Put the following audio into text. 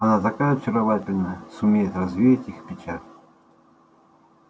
она такая очаровательная сумеет развеять их печаль